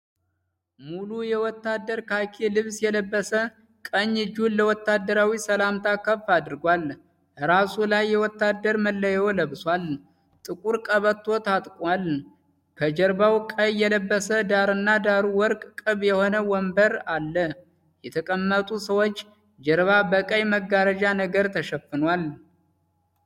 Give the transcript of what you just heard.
ሙሉ የወታደር ካኪ ልብስ የለበሰ ቀኝ እጁን ለወታደራዊ ሰላምታ ከፍ አድርጓል። እራሱ ላይ የወታደር መለዩ ለብሷል። ጥቁር ቀበቶ ታጥቋል። ከጀርባዉ ቀይ የለበሰ ዳርና ዳሩ ወርቅ ቅብ የሆነ ወንበር አለ። የተቀመጡ ሰዎች ጀርባ በቀይ መጋረጃ ነገር ተሸፍኗል።